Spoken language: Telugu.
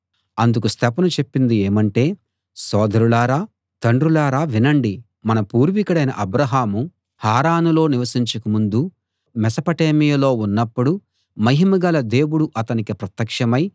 అందుకు స్తెఫను చెప్పింది ఏమంటే సోదరులారా తండ్రులారా వినండి మన పూర్వికుడైన అబ్రాహాము హారానులో నివసించక ముందు మెసపటేమియాలో ఉన్నప్పుడు మహిమగల దేవుడు అతనికి ప్రత్యక్షమై